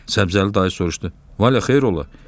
Səbzəli dayı soruşdu: "Valya xeyir ola?"